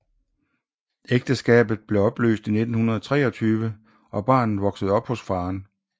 Ægteskabet blev opløst i 1923 og barnet voksede op hos faderen